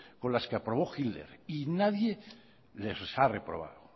con las que aprobó hitler y nadie les ha recordado